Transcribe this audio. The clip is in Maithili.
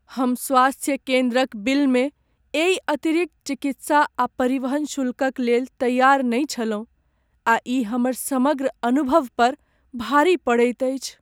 हम स्वास्थ्य केन्द्रक बिलमे एहि अतिरिक्त चिकित्सा आ परिवहन शुल्कक लेल तैयार नहि छलहुँ आ ई हमर समग्र अनुभव पर भारी पड़ैत अछि।